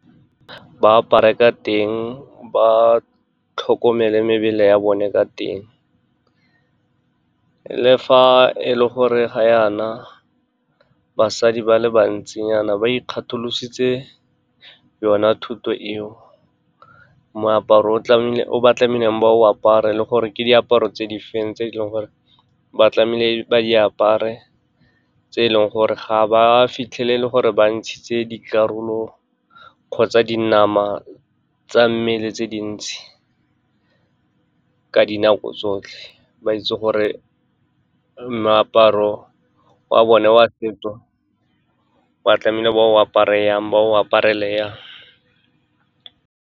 Ba apara ka teng, ba tlhokomele mebele ya bone ka teng, le fa e le gore ga yana basadi ba le bantsinyana ba ikgatholositse yona thuto eo. Moaparo o ba tlamehileng ba o apare, le gore ke diaparo tse di feng tse eleng gore ba tlamehile ba apare tse e leng gore ga ba fitlhele e le gore ba ntshitse dikarolo kgotsa dinama tsa mmele tse dintsi. Ka dinako tsotlhe, ba itse gore meaparo wa bone wa feto ba tlamehile ba o apara jang, ba o aparele jang.